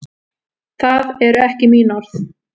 Það eru ekki mín orð.